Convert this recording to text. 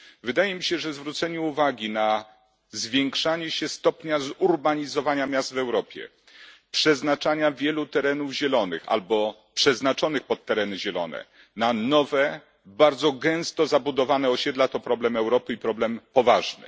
Wydaje mi się, że zwrócenie uwagi na zwiększanie się stopnia zurbanizowania miast w Europie, przeznaczania wielu terenów zielonych albo przeznaczonych pod tereny zielone na nowe bardzo gęsto zabudowane osiedla to problem Europy i problem poważny.